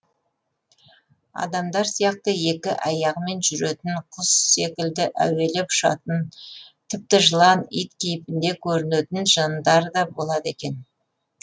адамдар сияқты екі аяғымен жүретін құс секілді әуелеп ұшатын тіпті жылан ит кейпінде көрінетін жындар да болады екен